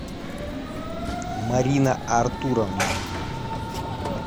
марина артуровна